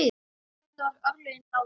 Þarna voru örlögin ráðin.